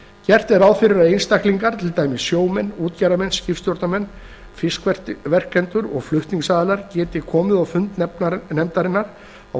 gert er ráð fyrir að einstaklingar til dæmis sjómenn útgerðarmenn skipstjórnarmenn fiskverkendur og flutningsaðilar geti komið á fund nefndarinnar af